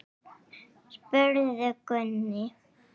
spurði Gunni.